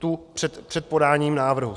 Tu před podáním návrhu.